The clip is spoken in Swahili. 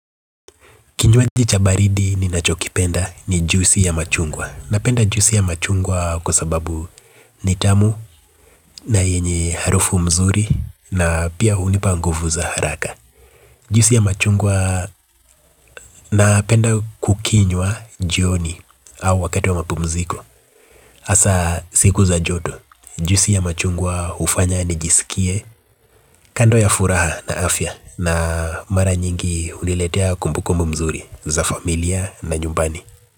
Kinywaji cha baridi ninachokipenda ni juusi ya machungwa. Napenda juisi ya machungwa kwa sababu ni tamu na yenye harufu mzuri na pia hunipa nguvu za haraka. Juusi ya machungwa napenda kukinywa jioni au wakati wa mapumziko. Hasa siku za joto, juisi ya machungwa hufanya nijisikie kando ya furaha na afya na mara nyingi huniletea kumbukumbu mzuri za familia na nyumbani.